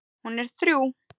Hún er þrjú.